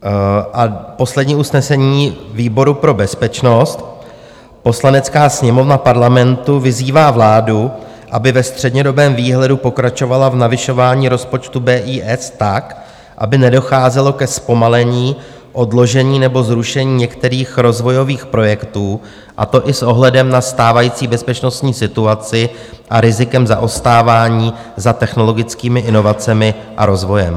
A poslední usnesení výboru pro bezpečnost: "Poslanecká sněmovna Parlamentu vyzývá vládu, aby ve střednědobém výhledu pokračovala v navyšování rozpočtu BIS tak, aby nedocházelo ke zpomalení, odložení nebo zrušení některých rozvojových projektů, a to i s ohledem na stávající bezpečnostní situaci a rizikem zaostávání za technologickými inovacemi a rozvojem."